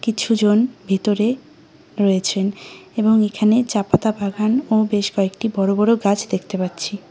কিছুজন ভিতরে রয়েছেন এবং এখানে চা পাতা বাগান ও বেশ কয়েকটি বড় বড় গাছ দেখতে পাচ্ছি।